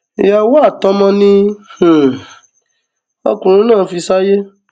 ìyàwó àtọmọ ni um ọkùnrin náà fi sáyé